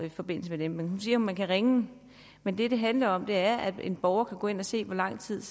i forbindelse med dem hun siger at man kan ringe men det det handler om er at en borger skal kunne gå ind og se hvor lang tid